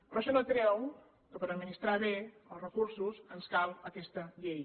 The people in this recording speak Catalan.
però això no treu que per administrar bé els recursos ens cal aquesta llei